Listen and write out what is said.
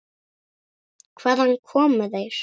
Hvaðan komu þeir?